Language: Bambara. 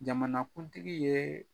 Jamanakuntigi yee